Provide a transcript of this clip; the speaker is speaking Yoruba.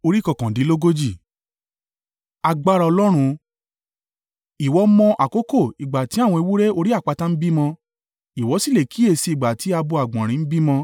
“Ìwọ mọ àkókò ìgbà tí àwọn ewúrẹ́ orí àpáta ń bímọ? Ìwọ sì lè kíyèsi ìgbà tí abo àgbọ̀nrín ń bímọ?